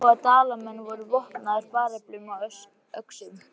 Hann sá að Dalamenn voru vopnaðir bareflum og öxum.